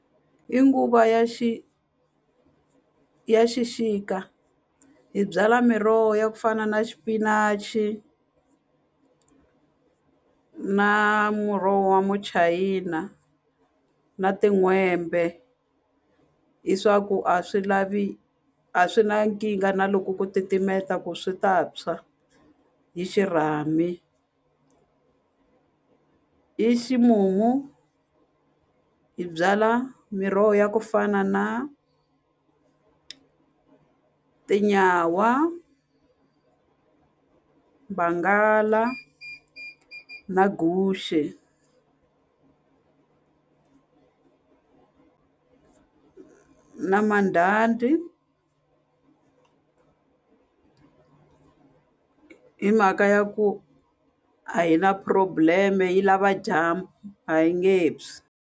Hi nguva ya ya xixika hi byala miroho ya ku fana na xipinachi na muroho wa muchayina na tin'hwembe hi swa ku a swi lavi a swi na nkingha na loko ku titimeta ku swi ta tshwa hi xirhami i ximumu hi byala miroho ya ku fana na tinyawa, vangala na guxe na mandhandhi hi mhaka ya ku a hi na problem-e yi lava dyambu a yi nge tshwi.